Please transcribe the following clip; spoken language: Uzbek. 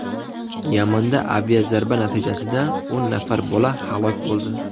Yamanda aviazarba natijasida o‘n nafar bola halok bo‘ldi.